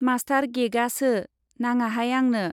Master गेगासो, नाङाहाय आंनो।